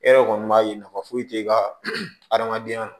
E yɛrɛ kɔni b'a ye nafa foyi t'e ka adamadenya la